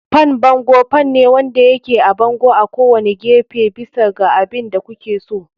Fan bango fan ne wanda yake a bango a kowane gefe, bisa ga abin da kuke so.